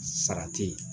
Sara te ye